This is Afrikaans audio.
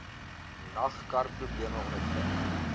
nag karprobleme ondervind